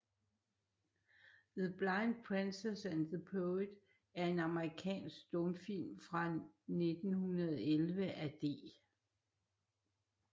The Blind Princess and the Poet er en amerikansk stumfilm fra 1911 af D